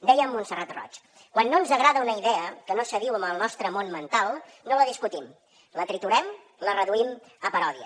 deia montserrat roig quan no ens agrada una idea que no s’adiu amb el nostre món mental no la discutim la triturem la reduïm a paròdia